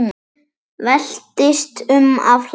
Veltist um af hlátri.